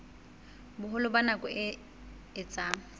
boholo ba nako e etsang